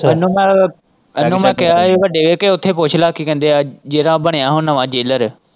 ਇਹਨੂੰ ਮੈਂ ਇਹਨੂੰ ਮੈਂ ਕਿਹਾ ਹੀ ਵੱਡੇ ਉੱਥੇ ਪੁੱਛ ਲੈ ਕੀ ਕਹਿੰਦੇ ਹੈ ਜਿਹੜਾ ਬਣਿਆ ਹੈ ਨਵਾਂ ਜੇਲਰ।